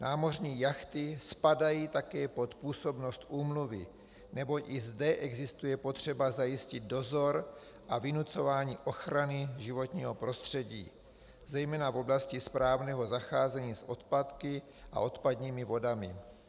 Námořní jachty spadají také pod působnost úmluvy, neboť i zde existuje potřeba zajistit dozor a vynucování ochrany životního prostředí, zejména v oblasti správného zacházení s odpadky a odpadními vodami.